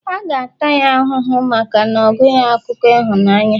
a ga-ata ya ahụhụ maka ogụghi akụkọ ịhụnanya